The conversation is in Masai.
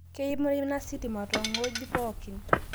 Keimina sitima tong'goji pookin